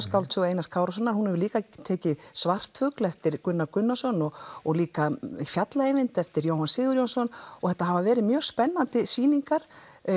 skáldsögu Einars Kárasonar hún hefur líka tekið svartfugl eftir Gunnar Gunnarsson og og líka fjalla Eyvind eftir Jóhann Sigurjónsson og þetta hafa verið mjög spennandi sýningar